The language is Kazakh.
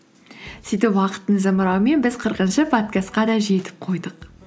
сөйтіп уақыттың зымырауымен біз қырқыншы подкастқа да жетіп қойдық